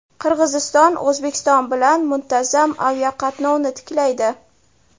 Qirg‘iziston O‘zbekiston bilan muntazam aviaqatnovni tiklaydi.